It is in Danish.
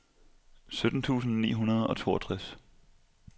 sytten tusind ni hundrede og toogtres